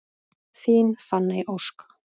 Þín Fanney Ósk.